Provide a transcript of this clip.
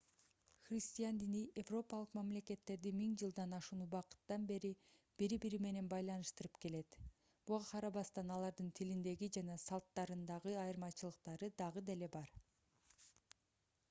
христиан дини европалык мамлекеттерди миң жылдан ашуун убакыттан бери бири-бири менен байланыштырып келет буга карабастан алардын тилиндеги жана салттарындагы айырмачылыктары дагы деле бар